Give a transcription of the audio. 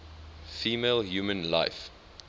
female human life